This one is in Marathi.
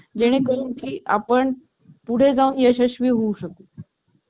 चालू स्थितीत आहे छान प्रकारे चालतो